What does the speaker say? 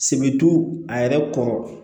a yɛrɛ kɔrɔ